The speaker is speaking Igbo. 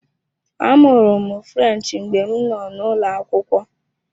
Amụrụ m French mgbe m nọ n'ụlọ akwụkwọ.